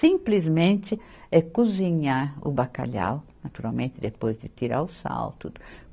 Simplesmente é cozinhar o bacalhau, naturalmente depois de tirar o sal, tudo.